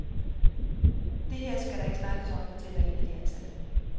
Det her skal der ikke snakkes om, fortæller en af de ansatte.